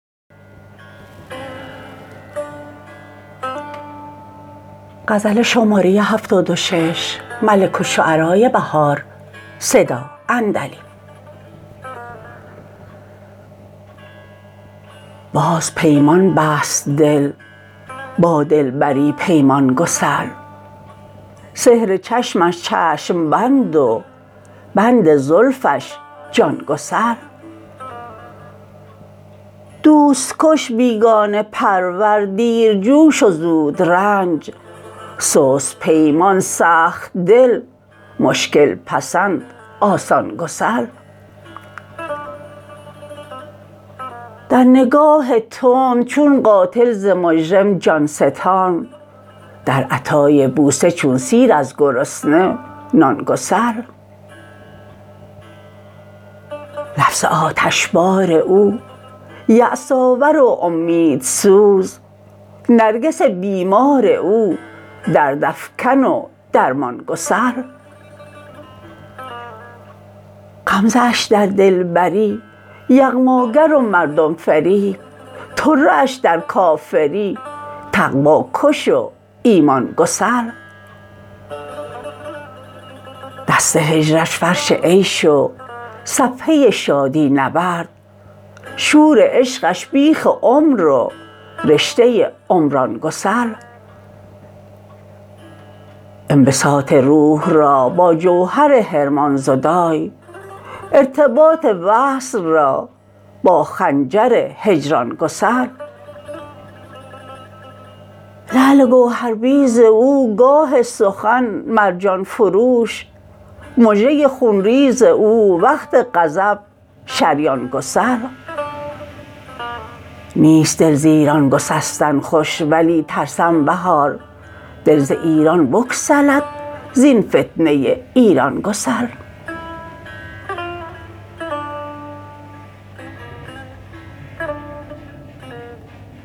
باز پیمان بست دل با دلبری پیمان گسل سحر چشمش چشم بند و بند زلفش جان گسل دوست کش بیگانه پرور دیرجوش و زودرنج سست پیمان سخت دل مشکل پسند آسان گسل در نگاه تند چون قاتل ز مجرم جان ستان در عطای بوسه چون سیر از گرسنه نان گسل لفظ آتشبار او یاس آور و امیدسوز نرگس بیمار او دردافکن و درمان گسل غمزه اش در دلبری یغماگر و مردم فریب طره اش در کافری تقوی کش و ایمان گسل دست هجرش فرش عیش و صفحه شادی نورد شور عشقش بیخ عمر و رشته عمران گسل انبساط روح را با جوهر حرمان زدای ارتباط وصل را با خنجر هجران گسل لعل گوهرریز او گاه سخن مرجان فروش مژه خونریز او وقت غضب شریان گسل نیست دل ز ایران گسستن خوش ولی ترسم بهار دل ز ایران بگسلد زین فتنه ایران گسل